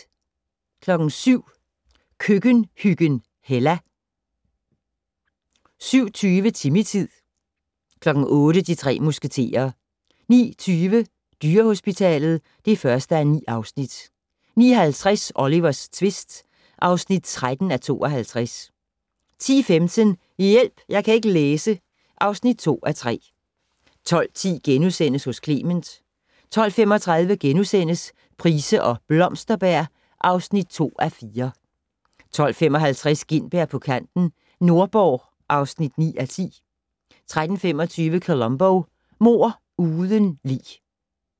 07:00: Køkkenhyggen Hella 07:20: Timmy-tid 08:00: De tre musketerer 09:20: Dyrehospitalet (1:9) 09:50: Olivers tvist (13:52) 10:15: Hjælp! Jeg kan ikke læse (2:3) 12:10: Hos Clement * 12:35: Price og Blomsterberg (2:4)* 12:55: Gintberg på kanten - Nordborg (9:10) 13:25: Columbo: Mord uden lig